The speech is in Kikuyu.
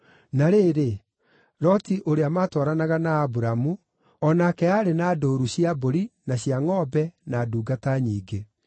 Na rĩrĩ, Loti, ũrĩa matwaranaga na Aburamu, o nake aarĩ na ndũũru cia mbũri, na cia ngʼombe, na ndungata nyingĩ.